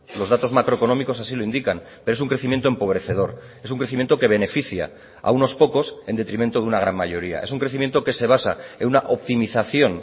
los datos macroeconómicos así lo indican pero es un crecimiento empobrecedor es un crecimiento que beneficia a unos pocos en detrimento de una gran mayoría es un crecimiento que se basa en una optimización